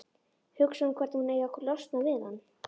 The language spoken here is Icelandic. Hugsar um hvernig hún eigi að losna við hann.